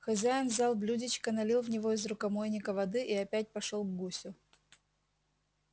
хозяин взял блюдечко налил в него из рукомойника воды и опять пошёл к гусю